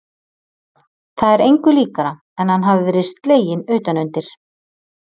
Það er engu líkara en að hann hafi verið sleginn utan undir.